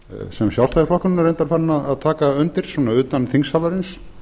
sem sjálfstæðisflokkurinn er reyndar farinn að taka undir svona utan þingsalarins